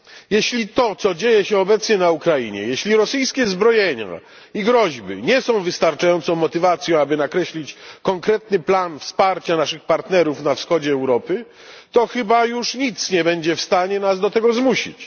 Jeśli to, co dzieje się obecnie na Ukrainie, jeśli rosyjskie zbrojenia i groźby nie są wystarczającą motywacją, aby nakreślić konkretny plan wsparcia naszych partnerów na Wschodzie Europy, to chyba już nic nie będzie w stanie nas do tego zmusić.